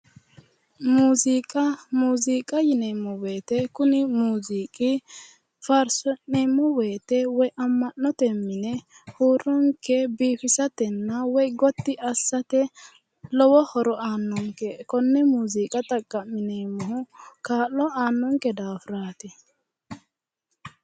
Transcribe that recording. Muziiqa, muziiqa yineemmo woyte kuni muziiqi faarsi'neemmo woyte ama'note mine huuronke biifisatenna gotti assate lowo horo aanonke kone muziiqa xaqa'mineemmohu kaa'lo aanonke daafirati.